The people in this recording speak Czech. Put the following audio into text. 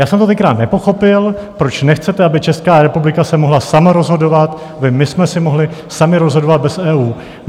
Já jsem to tenkrát nepochopil, proč nechcete, aby Česká republika se mohla sama rozhodovat, kde my jsme si mohli sami rozhodovat bez EU.